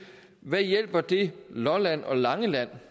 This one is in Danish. hvad hjælper det lolland og langeland